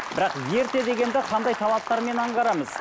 бірақ ерте дегенді қандай талаптармен аңғарамыз